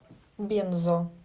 бензо